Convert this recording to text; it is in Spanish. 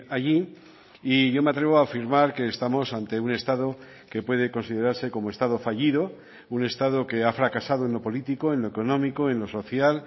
allí y yo me atrevo a afirmar que estamos ante un estado que puede considerarse como estado fallido un estado que ha fracasado en lo político en lo económico en lo social